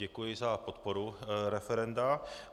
Děkuji za podporu referenda.